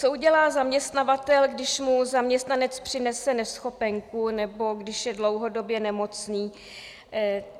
Co udělá zaměstnavatel, když mu zaměstnanec přinese neschopenku nebo když je dlouhodobě nemocný?